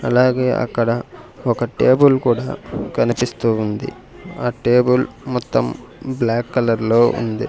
అలాగే అక్కడ ఒక టేబుల్ కూడా కనిపిస్తూ ఉంది ఆ టేబుల్ మొత్తం బ్లాక్ కలర్ లో ఉంది.